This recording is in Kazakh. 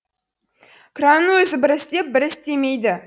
кранның өзі бір істеп бір істемейді